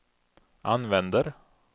använder